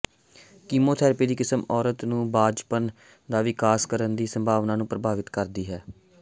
chemotherapy ਦੀ ਕਿਸਮ ਔਰਤ ਨੂੰ ਬਾਂਝਪਨ ਦਾ ਵਿਕਾਸ ਕਰਨ ਦੀ ਸੰਭਾਵਨਾ ਨੂੰ ਪ੍ਰਭਾਵਿਤ ਕਰਦੀ ਹੈ